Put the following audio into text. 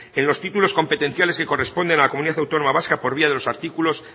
en los títulos competenciales que corresponden a la comunidad autónoma vasca por vía de los artículos